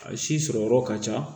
A si sɔrɔ yɔrɔ ka ca